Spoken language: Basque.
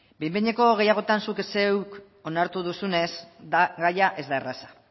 behin behineko gehiagotan zuk zeuk onartu duzunez gaia ez da erraza